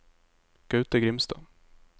Gaute Grimstad